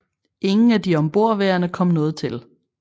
Ingen af de ombordværende kom noget til